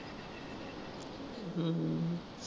ਹਮ